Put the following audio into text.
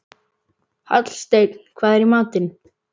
Hallsteinn, hvað er í matinn?